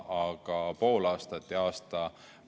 Aga pool aastat ja aasta?